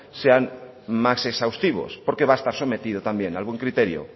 sean más exhaustivos porque va a estar sometido también al buen criterio